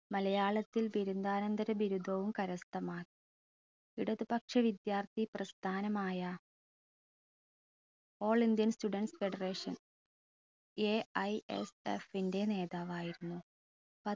മലയാളത്തിൽ ബിരുദാനന്തര ബിരുദവും കരസ്ഥമാക്കി ഇടതുപക്ഷ വിദ്യാർത്ഥി പ്രസ്ഥാനമായ all indian students federationAISF ൻറെ നേതാവായിരുന്നു